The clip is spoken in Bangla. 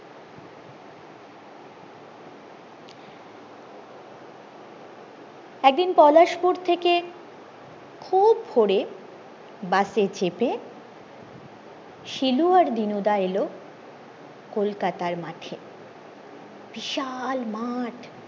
একদিন পলাশপুর থেকে খুব ভোরে বসে চেপে শিলু আর দিনুদা এলো কলকাতার মাঠে বিশাল মাঠ